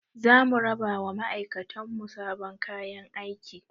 Za mu raba wa ma'aikatan mu sabon kayan aiki